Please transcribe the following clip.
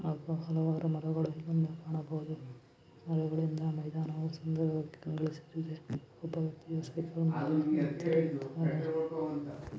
ಹಲವಾರು ಮರಗಳನ್ನು ನಾವು ಕಾಣಬಹುದು. ಮರಗಳಿಂದ ಮೈದಾನುವು ಸುಂದರವಾಗಿ ಕಾಣುತ್ತಿದೆ ಸುತ್ತಲೂ --